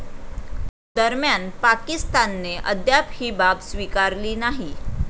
दरम्यान, पाकिस्तानने अद्याप ही बाब स्वीकारली नाही.